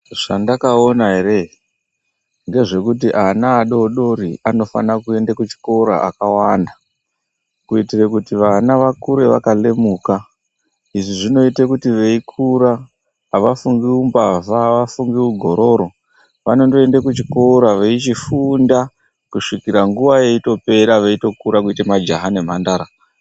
Zvandakaona ere ngezvekuti ana adoodori anofanira kuenda kuchikora akawanda kuitire kuti vana vakure vakalemuka. Izvi zvinoite kuti veikura avafungi umbavha, avafungi ugororo. Vanondoende kuchikora veichifunda kusvikira nguwa yeitopera kuite majaha nemhandara.